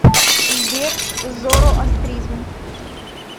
сбер зороастризм